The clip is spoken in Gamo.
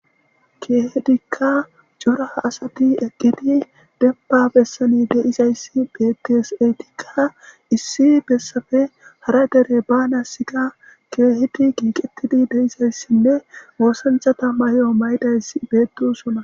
keehedikka jora asati eqqidi demba bessani deizayssi bettes eytikka issi bessafe hara dere ba nassika keehedi kiiqettidi deizayssinne woossanchata mayeyo maydayss beedusuna